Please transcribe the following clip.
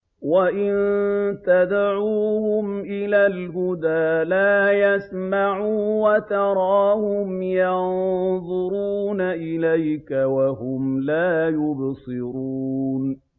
وَإِن تَدْعُوهُمْ إِلَى الْهُدَىٰ لَا يَسْمَعُوا ۖ وَتَرَاهُمْ يَنظُرُونَ إِلَيْكَ وَهُمْ لَا يُبْصِرُونَ